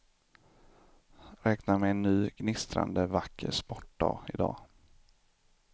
Räkna med en ny, gnistrande vacker sportdag i dag.